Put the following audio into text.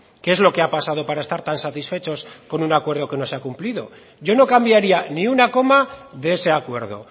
qué es lo que ha pasado para estar tan satisfechos con un acuerdo que no se ha cumplido yo no cambiaría ni una coma de ese acuerdo